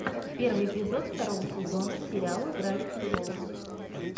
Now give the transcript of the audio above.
первый эпизод второго сезона сериала гравити фолз